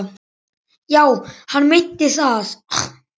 Já, hann meinti það.